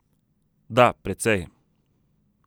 Da, precej.